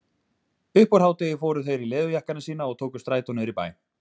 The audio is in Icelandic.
Upp úr hádegi fóru þeir í leðurjakkana sína og tóku strætó niður í bæ.